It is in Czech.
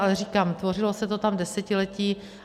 Ale říkám, tvořilo se to tam desetiletí.